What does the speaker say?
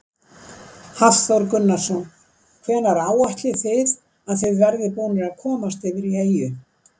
Hafþór Gunnarsson: Hvenær áætlið þið að þið verðið búnir að komast yfir í eyju?